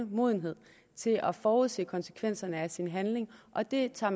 modenhed til at forudse konsekvenserne af sin handling og det tager